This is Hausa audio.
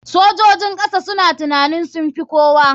Sojojin kasa suna tunanin sunfi kowa.